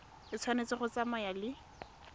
e tshwanetse go tsamaya le